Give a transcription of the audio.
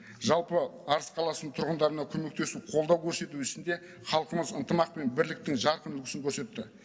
жалпы арыс қаласының тұрғындарына көмектесу қолдау көрсету ісінде халқымыз ынтымақ пен бірліктің жарқын үлгісін көрсетті